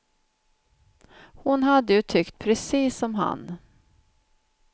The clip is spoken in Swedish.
Hon hade ju tyckt precis som han.